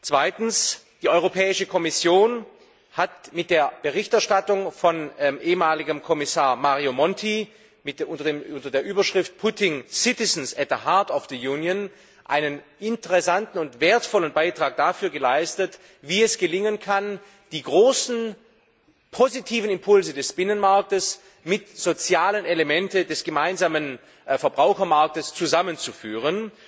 Zweitens Die Europäische Kommission hat mit der Berichterstattung vom ehemaligen Kommissar Mario Monti unter der Überschrift Putting citizens at the heart of the Union einen interessanten und wertvollen Beitrag dafür geleistet, wie es gelingen kann, die großen positiven Impulse des Binnenmarktes mit sozialen Elementen des gemeinsamen Verbrauchermarktes zusammenzuführen.